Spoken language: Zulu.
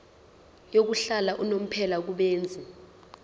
yokuhlala unomphela kubenzi